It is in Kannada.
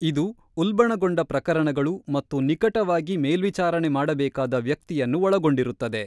ಇದು ಉಲ್ಬಣಗೊಂಡ ಪ್ರಕರಣಗಳು ಮತ್ತು ನಿಕಟವಾಗಿ ಮೇಲ್ವಿಚಾರಣೆ ಮಾಡಬೇಕಾದ ವ್ಯಕ್ತಿಯನ್ನು ಒಳಗೊಂಡಿರುತ್ತದೆ.